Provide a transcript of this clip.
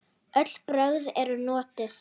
Öll brögð eru notuð.